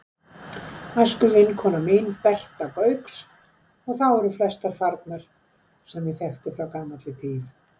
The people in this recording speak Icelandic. æskuvinkona mín, Berta Gauks, og þá eru flestir farnir sem ég þekkti frá gamalli tíð.